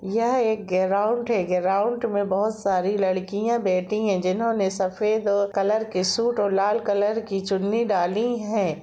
यह एक ग्राउंड है ग्राउंड में बहुत सारी लडकिया बैठी है जिन्होंने सफ़ेद कलर के शूट लाल कलर की चुनी डाली है।